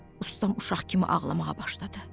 Ustam uşaq kimi ağlamağa başladı.